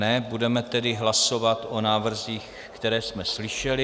Ne, budeme tedy hlasovat o návrzích, které jsme slyšeli.